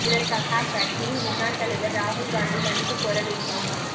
இதற்காக அக்கட்சியின் முன்னாள் தலைவா் ராகுல் காந்தி மன்னிப்பு கோர வேண்டும்